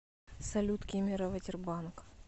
салют кемерово тербанк